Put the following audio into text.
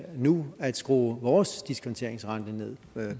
nu at skrue vores diskonteringsrente ned